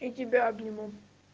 и тебя обниму